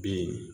Bi